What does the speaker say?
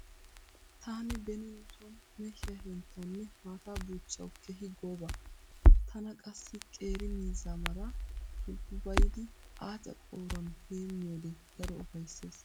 Taani ben nu sooni mehiya henttawunne maataa buuchchawu keehi gooba. Tana qassi qeeri miizzaa maraa sulppuppaida aaca qooruwan heemmiyode daro ufayssees.